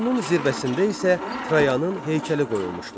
Sütunun zirvəsində isə Trayanın heykəli qoyulmuşdu.